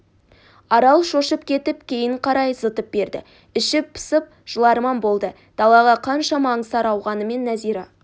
арал шошып кетіп кейін қарай зытып берді іші пысып жыларман болды далаға қаншама аңсары ауғанымен нәзира